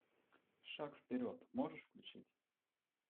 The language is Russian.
шаг вперед можешь включить